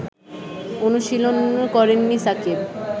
অনুশীলন করেননি সাকিব